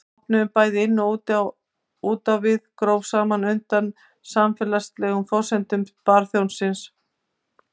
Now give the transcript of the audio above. Þessi opnun, bæði inn og út á við, gróf smám saman undan samfélagslegum forsendum bjórbannsins.